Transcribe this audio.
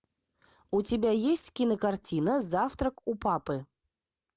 у тебя есть кинокартина завтрак у папы